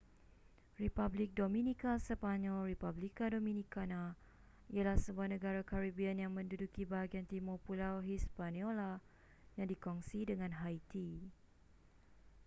republik dominika sepanyol: república dominicana ialah sebuah negara caribbean yang menduduki bahagian timur pulau hispaniola yang dikongsi dengan haiti